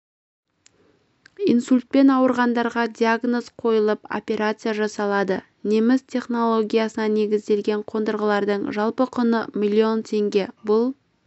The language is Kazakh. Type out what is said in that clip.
инсультпен ауырғандарға диагноз қойылып операция жасалады неміс технологиясына негізделген қондырғылардың жалпы құны миллион теңге бұл